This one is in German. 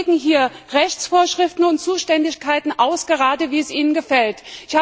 Und Sie legen hier Rechtsvorschriften und Zuständigkeiten aus, wie es Ihnen gerade gefällt.